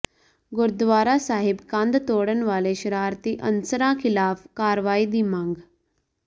ਗੁਰਦੁਆਰਾ ਸਾਹਿਬ ਕੰਧ ਤੋੜਨ ਵਾਲੇ ਸ਼ਰਾਰਤੀ ਅਨਸਰਾਂ ਖਿਲਾਫ ਕਾਰਵਾਈ ਦੀ ਮੰਗ